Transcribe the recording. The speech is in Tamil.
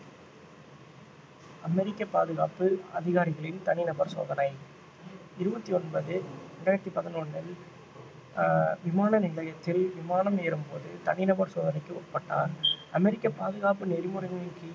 அமெரிக்கா பாதுகாப்பு அதிகாரிகளின் தனிநபர் சோதனை இருபத்தி ஒன்பது இரண்டாயிரத்தி பதினொன்னில் ஆஹ் விமான நிலையத்தில் விமானம் ஏறும்போது தனிநபர் சோதனைக்கு உட்பட்டார் அமெரிக்கப் பாதுகாப்பு நெறிமுறையின் கீழ்